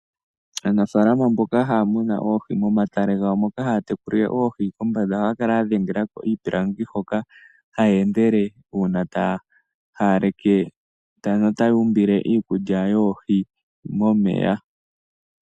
Aanafalama mboka haya munu oohi momatale gawo muka mu na oohi kombanda ohaya kala ya dhengela ko iipilangi hoka haya endele uuna taya haaleke notaya umbile iikukya oohi momeya.